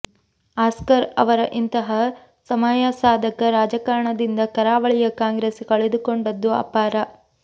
Oscar ಅವರ ಇಂತಹ ಸಮಯಸಾಧಕ ರಾಜಕಾರಣದಿಂದ ಕರಾವಳಿಯ ಕಾಂಗ್ರೆಸ್ ಕಳೆದುಕೊಂಡದ್ದು ಅಪಾರ